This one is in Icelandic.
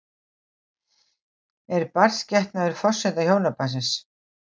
Er barnsgetnaður forsenda hjónabandsins?